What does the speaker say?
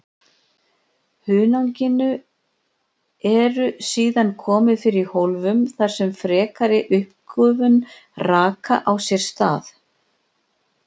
Hunanginu eru síðan komið fyrir í hólfum þar sem frekari uppgufun raka á sér stað.